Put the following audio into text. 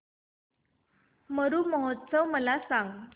मरु महोत्सव मला सांग